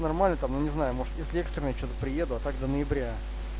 нормально там ну не знаю может если экстренное что-то приеду а так до ноября